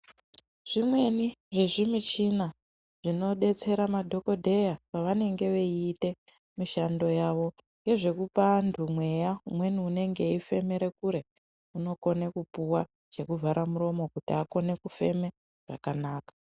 Zvimweni zvezvi muchini zvinodetsera madhokodheya pavanenge achiita mishando yavo ngezvekuoa vantu mweya umweni unenge eyifemere kure unokone kupuwa chekuvhara muromo kuti akone kufema zvakanaka.